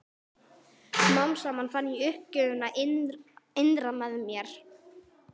Smám saman fann ég uppgjöfina innra með mér.